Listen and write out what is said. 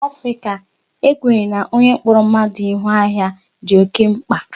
N'ala Africa, e kwenyere na onye kpọrọ mmadụ Ihu ahịa dị oké mkpa.